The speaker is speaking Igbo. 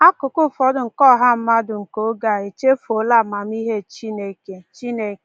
Akụkụ ụfọdụ nke ọha mmadụ nke oge a echefuola amamihe Chineke. Chineke.